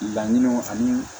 Laɲiniw ani